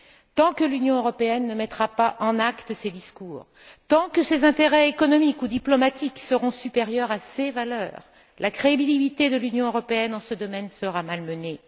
Tant que l'Union européenne ne mettra pas des actes sur ses discours, tant que ses intérêts économiques ou diplomatiques seront supérieurs à ses valeurs, la crédibilité de l'Union européenne en ce domaine sera malmenée.